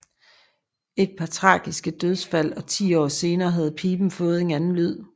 Et par tragiske dødsfald og 10 år senere havde piben fået en anden lyd